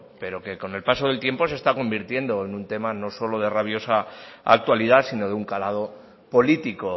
pero que con el paso del tiempo se está convirtiendo en un tema no solo de rabiosa actualidad sino de un calado político